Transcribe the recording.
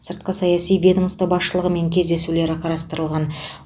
сыртқы саяси ведомство басшылығымен кездесулері қарастырылған